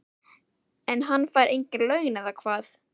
En hann fær engin laun, eða hvað?